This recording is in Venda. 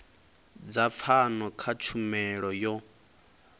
dza pfano kha tshumelo yo